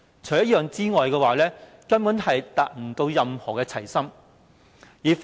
除此之外，根本沒有任何"齊心"可言。